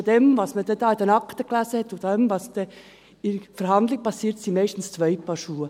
Denn das, was man in den Akten las, und das, was dann in der Verhandlung passiert, sind meistens zwei Paar Schuhe.